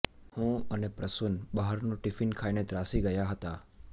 હું અને પ્રસૂન બહારનું ટિફિન ખાઈને ત્રાસી ગયા હતા